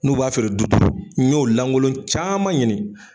N'u b'a feere du duuru n'y'o lankolon caman ɲini.